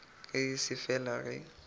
ge e se fela ge